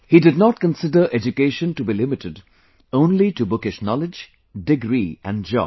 He did not consider education to be limited only to bookish knowledge, degree and job